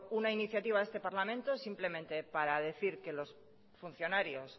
una iniciativa a este parlamento simplemente para decir que los funcionarios